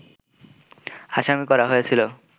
আসামি করা হয়েছিল